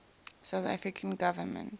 south african government